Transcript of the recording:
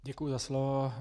Děkuji za slovo.